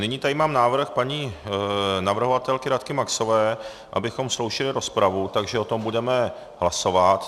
Nyní tady mám návrh paní navrhovatelky Radky Maxové, abychom sloučili rozpravu, takže o tom budeme hlasovat.